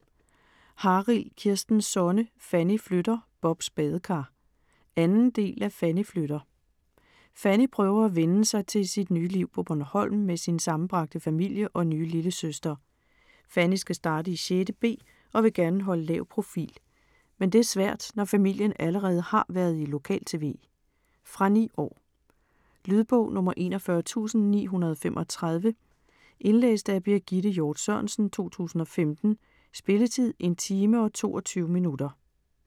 Harild, Kirsten Sonne: Fanny flytter - Bobs badekar 2. del af Fanny flytter. Fanny prøver at vænne sig til sit nye liv på Bornholm med sin sammenbragte familie og nye lillesøster. Fanny skal starte i 6.b og vil gerne holde lav profil, men det er svært når familien allerede har været i lokal-tv. Fra 9 år. Lydbog 41935 Indlæst af Birgitte Hjort Sørensen, 2015. Spilletid: 1 timer, 22 minutter.